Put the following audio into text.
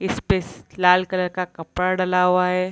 इस पे से लाल कलर का कपड़ा डला हुआ है।